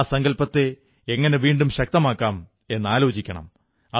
ആ സങ്കല്പത്തെ എങ്ങനെ വീണ്ടും ശക്തമാക്കാം എന്നാലോചിക്കണം